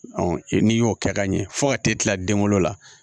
n'i y'o kɛ ka ɲɛ fo ka t'e kila den wolo la